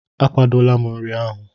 Akwadola m nri ahụ.